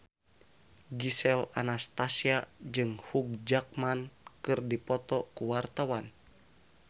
Gisel Anastasia jeung Hugh Jackman keur dipoto ku wartawan